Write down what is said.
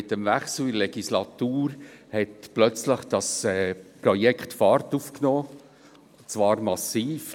Mit dem Wechsel der Legislatur nahm das Projekt plötzlich Fahrt auf, und zwar massiv.